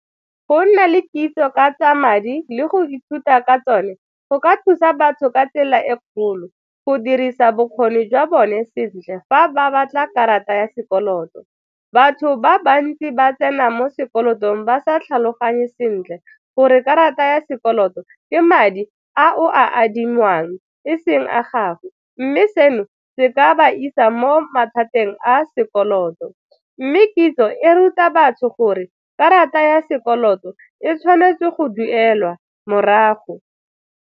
Go nna le kitso ka tsa madi le go ithuta ka tsone go ka thusa batho ka tsela e kgolo go dirisa bokgoni jwa bone sentle fa ba batla karata ya sekoloto. Batho ba bantsi ba tsena mo sekolotong ba sa tlhaloganye sentle gore karata ya sekoloto ke madi a o a adimang e seng a gagwe mme seno se ka ba isa mo mathateng a sekoloto. Mme kitso e ruta batho gore karata ya sekoloto e tshwanetse go duelwa morago.